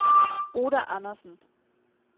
Oda Andersen